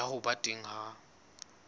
ya ho ba teng ha